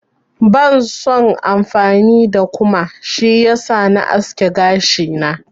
Bans son amfani da kuma, shi yasa na aske gashina.